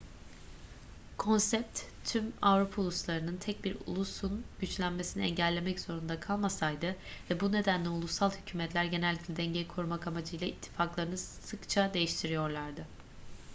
konsept tüm avrupa uluslarının tek bir ulusun güçlenmesini engellemek zorunda kalmasıydı ve bu nedenle ulusal hükümetler genellikle dengeyi korumak amacıyla ittifaklarını sıkça değiştiriyorlardı